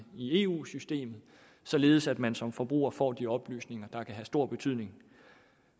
eu systemet således at man som forbruger får de oplysninger der kan have stor betydning